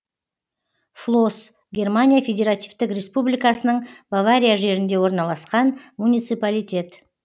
флос германия федеративтік республикасының бавария жерінде орналасқан муниципалитет